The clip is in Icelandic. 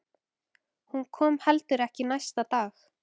Hún kom heldur ekki næsta dag.